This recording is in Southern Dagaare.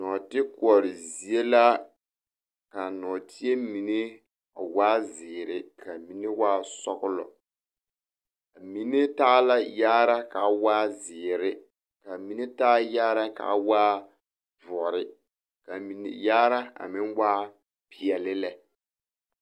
Nɔɔtekoɔre zie la ka a nɔɔteɛ mine waa ziiri ka a mine waa sɔɡelɔ a mine taa la yaare ka a waa ziiri ka a mine taa yaare ka a waa doɔre ka a mine yaare meŋ waa peɛle lɛ.